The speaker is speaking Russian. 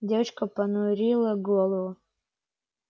девочка понурила голову